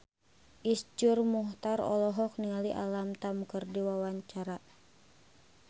Iszur Muchtar olohok ningali Alam Tam keur diwawancara